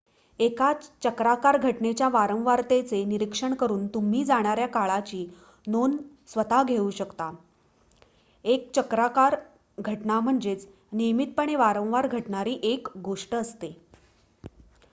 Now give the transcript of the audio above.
एका चक्राकार घटनेच्या वारंवारतेचे निरीक्षण करुन तुम्ही जाणाऱ्या काळाची नोंद स्वतःच घेऊ शकता एक चक्राकार घटना म्हणजे नियमितपणे वारंवार घडणारी एक गोष्ट असते